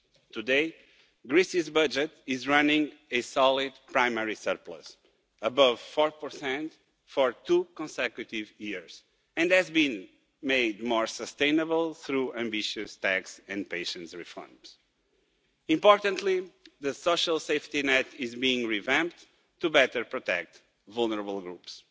Today, Greece's budget is running a solid primary surplus, above 4 for two consecutive years, and has been made more sustainable through ambitious taxation and patient reforms. Importantly, the social safety net is being revamped to better protect vulnerable groups.